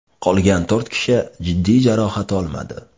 Qolgan to‘rt kishi jiddiy jarohat olmadi.